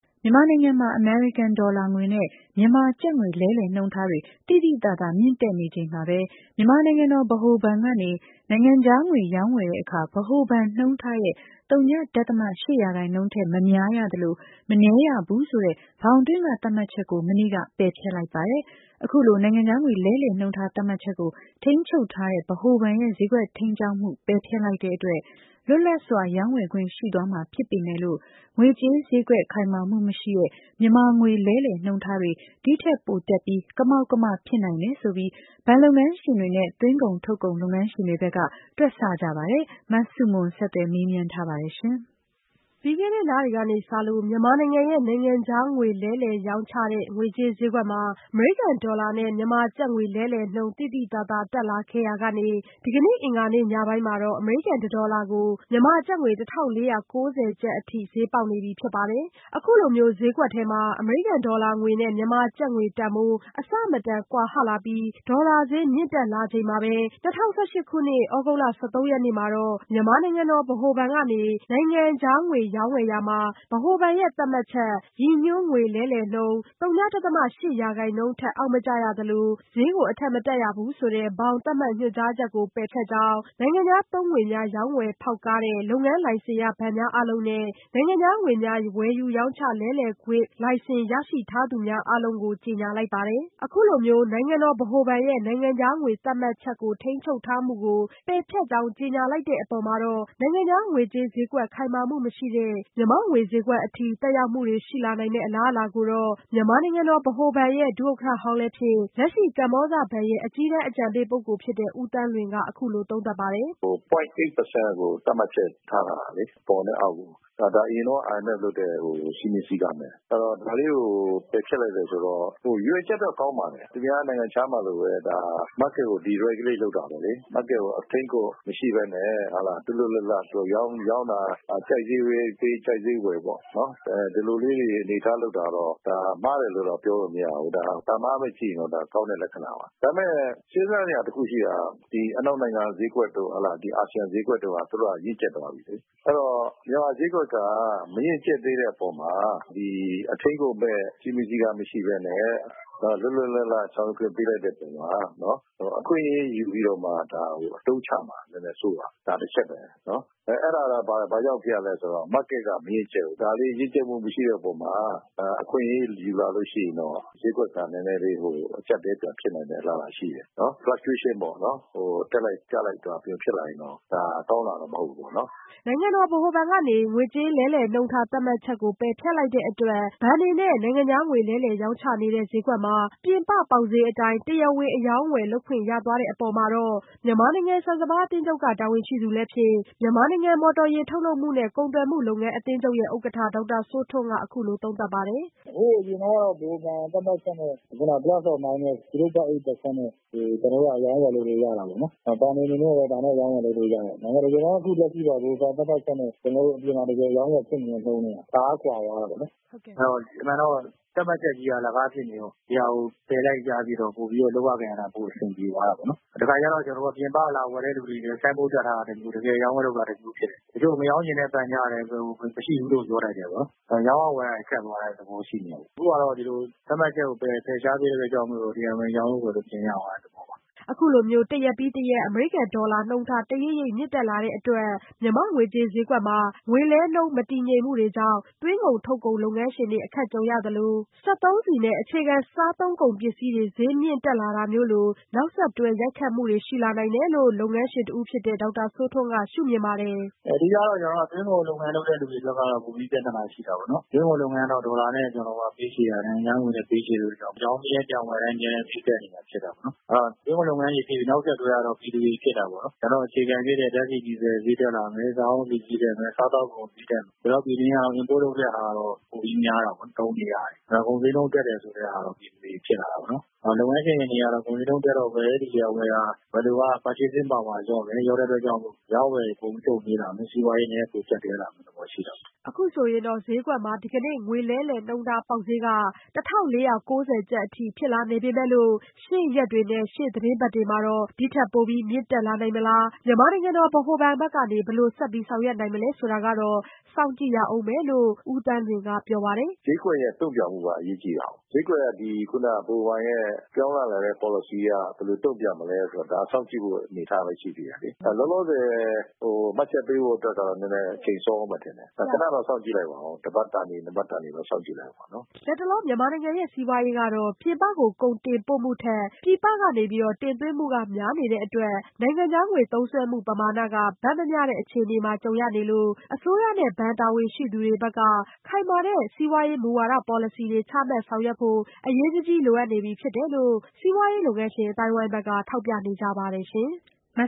မြန်မာနိုင်ငံမှာ အမေရိကန်ဒေါ်လာငွေနဲ့ မြန်မာကျပ်ငွေ လဲလှယ်နှုန်းထားတွေ သိသိသာသာ မြင့်တက်နေချိန်မှာပဲ မြန်မာနိုင်ငံတော် ဗဟိုဘဏ်ကနေ နိုင်ငံခြားငွေရောင်းဝယ်တဲ့အခါ ဗဟိုဘဏ်နှုန်းထားရဲ့ ဝ.၈ ရာခိုင်နှုန်းအထိသာ အလျှော့အတင်းဈေးကစားလို့ရတဲ့ ဘောင်သတ်မှတ်ချက်ကို မနေ့က ပယ်ဖျက်လိုက်ပါတယ်။ အခုလို နိုင်ငံခြားငွေလဲလှယ်နှုန်းထားသတ်မှတ်ချက်ကို ထိန်းချုပ်ထားတဲ့ ဗဟိုဘဏ်ရဲ့ ဈေးကွက်ထိန်းကြောင်းမှု ပယ်ဖျက်လိုက်တဲ့အတွက် လွတ်လပ်စွာ ရောင်းဝယ်ခွင့်ရှိသွားမှာဖြစ်ပေမဲ့လို့ ငွေကြေးဈေးကွက် ခိုင်မာမှုမရှိတဲ့မြန်မာငွေလဲလှယ်နှုန်းထားတွေ ဒီ့ထက်ပိုမြင့်တက်ပြီး ကမောက်ကမဖြစ်နိုင်တယ်ဆိုပြီး ဘဏ်လုပ်ငန်းရှင်တွေနဲ့ သွင်းကုန်ထုတ်ကုန်လုပ်ငန်းရှင်တွေဘက်က တွက်ဆကြပါတယ်။ မဆုမွန် ဆက်သွယ်မေးမြန်းထားပါတယ်။ ပြီးခဲ့တဲ့လတွေကစလို့ မြန်မာနိုင်ငံရဲ့ နိုင်ငံခြားရေးငွေလဲလှယ်ရောင်းချတဲ့ ငွေကြေးဈေးကွက်ထဲမှာ အမေရိကန်ဒေါ်လာနဲ့ မြန်မာကျပ်ငွေ လဲလှယ်နှုန်း သိသိသာသာ တက်လာခဲ့ရာကနေ ဒီကနေ့ အင်္ဂါနေ့ညပိုင်းမှာတော့ အမေရိကန် ၁ ဒေါ်လာကို မြန်မာကျပ်ငွေ ၁၄၉၀ ကျပ်အထိ ဈေးပေါက်နေပြီဖြစ်ပါတယ်။ အခုလိုမျိုး ဈေးကွက်ထဲမှာ အမေရိကန်ဒေါ်လာငွေနဲ့ မြန်မာကျပ်ငွေတန်ဖိုး အဆမတန် ကွာဟလာပြီး ဒေါ်လာဈေးမြင့်တက်လာချိန်မှာပဲ ၂၀၁၈ခုနှစ် သြဂုတ်လ ၁၃ရက်နေ့မှာတော့ မြန်မာနိုင်ငံတော် ဗဟိုဘဏ်ကနေ နိုင်ငံခြားငွေ ရောင်းဝယ်ရာမှာ ဗဟိုဘဏ်ရဲ့သတ်မှတ်ချက် ဗဟိုဘဏ်ရဲ့ ရည်ညွှန်းငွေလဲလှယ်နှုန်း ဝ.၈ ရာခိုင်နှုန်း ထက် အောက်မကျရသလို မတက်ရဘူးဆိုတဲ့ ဘောင်သတ်မှတ် ညွှန်ကြားချက်ကို ပယ်ဖျက်ကြောင်း နိုင်ငံခြားသုံးငွေများ ရောင်းဝယ်ဖောက်ကားတဲ့ လုပ်ငန်းလိုင်စင်ရဘဏ်များအားလုံး ( Authorized Dealer License A.D) နဲ့ နိုင်ငံခြားငွေများ ဝယ်ယူရောင်းချလဲလှယ်ပေးခွင့်လိုင်စင် ( Money Changer License M.C) ရရှိထားသူများအားလုံးကို ကြေညာလိုက်ပါတယ်။ အခုလိုမျိုး နိုင်ငံတော်ဗဟိုဘဏ်ရဲ့ နိုင်ငံခြားငွေသတ်မှတ်ချက် ထိန်းချုပ်ထားမှုကို ပယ်ဖျက်ကြောင်းကြေညာလိုက်တဲ့အပေါ် နိုင်ငံခြားငွေကြေး ဈေးကွက်ခိုင်မာမှုမရှိတဲ့ မြန်မာငွေဈေးကွက်အထိ သက်ရောက်မှုတွေရှိလာနိုင်မယ့် အလားအလာကိုတော့ မြန်မာနိုင်ငံ ဗဟိုဘဏ် ဒုဥက္ကဋ္ဌဟောင်းလည်းဖြစ် လက်ရှိ ကမ္ဘောဇဘဏ်ရဲ့ အကြီးတန်းအကြံပေးပုဂ္ဂိုလ်ဖြစ်တဲ့ ဦးသန်းလွင် က အခုလိုသုံးသပ်ပါတယ်။ "ဝ.၈ ရာခိုင်နှုန်းကို သတ်မှတ်ချက်ထားထားတာလေ။ အပေါ်နဲ့ အောက်ကို အရင်တုန်းက IMF လုပ်တဲ့ စည်းမျဉ်းစည်းကမ်းပဲ ဒါလေးကို ပယ်ဖျက်လိုက်တယ်ဆိုတော့ ရည်ရွယ်ချက်တော့ကောင်းပါတယ်။ သူများ နိုင်ငံခြားမှာလိုပဲ Market ကို deregulate လုပ်တာပဲလေ။ Market ကို အထိန်းအကွပ်မရှိပဲနဲ့ လွတ်လွတ်လပ်လပ်ရောင်းတာ ကြိုက်ဈေးပေးပြီး ကြိုက်ဈေးဝယ်ပေါ့နော်။ ဒီလိုလေးအနေအထားလုပ်တာကတော့ မှားတယ်လို့ တော့ပြောလို့မရဘူး။ ဒါက ကောင်းတဲ့လက္ခဏာပါ။ ဒါပေမယ့် စဉ်းစားစရာတခုရှိတာက အနောက်နိုင်ငံက ဈေးကွက်တို့ အာဆီယံဈေးကွက်တို့က ရင့်ကျက်သွားပြီလေ။ အဲဒီတော့ မြန်မာဈေးကွက်က မရင့်ကျက်သေးတဲ့အပေါ်မှာ အထိန်းအကွပ်မဲ့ စဉ်းမျဥ်းစဉ်းကမ်းမရှိပဲနဲ့ လွတ်လွတ်လပ်လပ်ဆောင်ရွက်ခွင့်ပေးလိုက်တဲ့အပေါ်မှာ အခွင့်အရေးယူပြီးတော့မှ ဒါကိုအသုံးချမှာကို စိုးရိမ်တယ် ဒါတချက်ပဲ။ အဲဒါဘာကြောင့်ဖြစ်ရသလဲဆိုတော့ Market မရင့်ကျက်သေးဘူး။ အဲလို မရင့်ကျက်သေးတဲ့အပေါ်မှာ အခွင့်အရေးယူလာလို့ရှိရင်တော့ ဈေးကွက်က နည်းနည်းလေး အကျပ်အတည်း ပြန်ဖြစ်နိုင်တဲ့ အလားအလာရှိတယ်။ တက်လိုက် ကျလိုက်ဖြစ်လာရင်တော့ ဒါကောင်းတာတော့မဟုတ်ဘူးပေါ့နော်။" နိုင်ငံတော်ဗဟိုဘဏ်ကနေ သတ်မှတ်ချက်ကို ပယ်ဖျက်လိုက်တဲ့အတွက် ဘဏ်တွေနဲ့နိုင်ငံခြားငွေလဲလှယ်ရောင်းချနေတဲ့ ဈေးကွက်မှာ ပြင်ပပေါက်ဈေးအတိုင်း တရားဝင် အရောင်းအဝယ်လုပ်ခွင့်ရသွားတဲ့အပေါ်မှာတော့ မြန်မာနိုင်ငံ ဆန်စပါးအသင်းချုပ် တာဝန်ရှိသူလည်းဖြစ်မြန်မာနိုင်ငံ မော်တော်ယာဉ် ထုတ်လုပ်မှုနှင့် ကုန်သွယ်မှုလုပ်ငန်း အသင်းချုပ်ရဲ့ဥက္ကဋ္ဌဒေါက်တာစိုးထွန်းက အခုလိုသုံးသပ်ပါတယ်။ "ဟိုးအရင်တုန်းကတော့ ဗဟိုဘဏ် သတ်မှတ်ချက်နဲ့ Plus or Minus ဝ.၈ ရာခိုင်နှုန်းနဲ့ ကျနော်တို့ အရောင်းအဝယ် လုပ်လို့ရတာပေါေ့နာ် ဘဏ်တွေအနေနဲ့လည်း ဒါနဲ့ အရောင်းအဝယ်လုပ်လို့ရတယ်။ လက်ရှိကတော့ ဗဟိုဘဏ် သတ်မှတ်ချက်နဲ့ အပြင်ကလက်ရှိလုပ်နေတဲ့ နှုန်းထားက တအားကွာသွားတာပေါ့နော် ။ အမှန်တော့ သတ်မှတ်ချက်ကြီးက အလကားဖြစ်နေတော့ ဒီဟာကို ဖယ်လိုက်တော့ လုပ်ရကိုင်ရတာပိုအဆင်ပြေသွားတာပေါ့နော်။ တခါတလေ ပြင်ပကလာဝယ်တဲ့လူတွေအတွက် ဆိုင်းဘုတ်တပ်ထားရတာနဲ့ တကယ်ရောင်းတာက တခုဖြစ်နေတယ်။ တချို့မရောင်းချင်တဲ့ဘဏ်က မရှိဘူးလို့ပြောလိုက်တယ်။ ရောင်းရဝယ်ရတာခက်သွားတဲ့ သဘောရှိနေတယ်ပေါ့နော်။ အခုက သတ်မှတ်ချက်ကို ဖယ်ရှားလိုက်တဲ့အတွက် တရားဝင် ရောင်းဝယ်လို့ရသွားတဲ့ သဘောပါ။" အခုလို တရက်ပြီးတရက် အမေရိကန်ဒေါ်လာလဲလှယ်နှုန်းထား တရိပ်ရိပ်မြင့်တက်လာတဲ့အတွက် မြန်မာ့ငွေကြေးဈေးကွက်မှာ ငွေလဲနှုန်းမတည်ငြိမ်မှုတွေကြောင့် သွင်းကုန်ထုတ်ကုန်လုပ်ငန်းရှင်တွေ အခက် ကြုံရသလို စက်သုံးဆီနဲ့ အခြေခံစားသုံးကုန်ပစ္စည်းတွေ ဈေးမြင့်တက်လာတာမျိုးတွေလို နောက်ဆက်တွဲ ရိုက်ခတ်မှုတွေ ရှိလာနေတယ်လို့ လုပ်ငန်းရှင်တဦးဖြစ်တဲ့ ဒေါက်တာစိုးထွန်းက ပြောပါတယ်။ "အဓိကတော့ သွင်းကုန်လုပ်ငန်းလုပ်တဲ့လူတွေအတွက်ကတော့ ပိုပြီးပြဿနာရှိတယ်။ သွင်းကုန်က ဒေါ်လာနဲ့ ပေးချေတာ၊ နိုင်ငံခြားငွေနဲ့ ပေးချေတာ နောက်ရောင်းပြီးရင် ပြန်ဝယ်တိုင်း အမြဲဈေးတက်နေတာပေါ့နော်။ သွင်းကုန်လုပ်ငန်းတွေပြီးရင် နောက်ဆက်တွဲကတော့ ပြည်သူတွေဖြစ်တာပေါ့နော်။ အခြေခံဖြစ်တဲ့ ဓါတ်ဆီ၊ဒီဇယ်တွေဈေးတက်လာမယ်။ စားအုန်းဆီဈေးတက်မယ်။ စားသောက်ကုန်ဈေးတက်မယ်။ ကျနော်တို့ ပြည်တွင်းက import လုပ်တာပိုများတာပေါ့နော် သုံးနေရတယ်။ ကုန်ဈေးနှုန်းတက်တယ်ဆိုတာတွေဖြစ်လာတယ်။ လုပ်ငန်းရှင်တွေအနေနဲ့က ကုန်ဈေးနှုန်းတက်တော့ ဝယ်လိုအားလျော့မယ် ၊ လျော့တဲ့အတွက် အရောင်းအဝယ်တွေ နှေးလာမယ်။ စီးပွားရေး ကျပ်တည်းလာမယ့်အနေအထားရှိတာပေါ့နော်။" အခုဆိုရင်တော့ ဈေးကွက်မှာ ဒီကနေ့ ငွေလဲလှယ်နှုန်းထားပေါက်ဈေးက ၁၄၉၀ကျပ်အထိ ဖြစ်လာနေပေမဲ့လို့ ရှေ့ရက်တွေနဲ့ ရှေ့သီတင်းပတ်တွေမှာ ဒီ့ထက်ပိုပြီး မြင့်တက်လာနိုင်မလား- မြန်မာနိုင်ငံတော်ဗဟိုဘဏ်ဘက်က ဘယ်လိုဆက်ပြီး ဆောင်ရွက်နိုင်မလဲဆိုတာကတော့ စောင့်ကြည့်ရဦးမယ်လို့ ဦးသန်းလွင်ကပြောပါတယ်။ "ဈေးကွက်ရဲ့ တုံ့ပြန်မှုက အရေးကြီးတာကို ဈေးကွက်က ဗဟိုဘဏ်ရဲ့ ပြောင်းလာတဲ့ ပေါ်လစီအရ ဘယ်လိုတုံပြန်မလဲဆိုတာကို ဒါက စောင့်ကြည့်ရမယ့်အနေအထားရှိသေးတယ်။ လောလောဆယ် မှတ်ချက်ပေးဖို့က အချိန်စောဦးမယ်လို့ ထင်တယ်။ ခဏစောင့်ကြည့်လိုက်ပါဦး တပတ်တန်သည်-နှစ်ပတ်တန်သည် စောင့်ကြည့်လိုက်ပါဦး။" လတ်တလော မြန်မာနိုင်ငံရဲ့ စီးပွားရေးမှာ ပြည်ပကို ကုန်တင်ပို့မှုထက် ပြည်ပက တင်သွင်းမှု များနေတဲ့အတွက်လည်း နိုင်ငံခြားငွေသုံးစွဲမှု ပမာဏက ဘက်မမျှတဲ့ အခြေအနေတွေ ကြုံနေရတဲ့အတွက် အစိုးရနဲ့ ဘဏ်တာဝန်ရှိသူတွေဘက်က ခိုင်မာတဲ့စီးပွားရေးမူဝါဒပေါ်လစီတွေ ချမှတ်ဆောင်ရွက်ဖို့ အရေးတကြီးလိုအပ်နေပြီဖြစ်တယ် လို့ စီးပွားရေးလုပ်ငန်းရှင်အသိုင်းအဝိုင်းက ထောက်ပြကြပါတယ်။ နိုင်